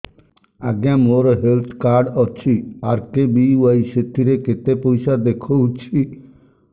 ଆଜ୍ଞା ମୋର health card ଅଛି ଆର୍.କେ.ବି.ୱାଇ ସେଥିରେ କେତେ ପଇସା ଦେଖଉଛି